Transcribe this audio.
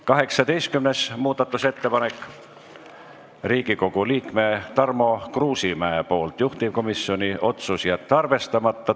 18. muudatusettepanek Riigikogu liikmelt Tarmo Kruusimäelt, juhtivkomisjoni otsus: jätta arvestamata.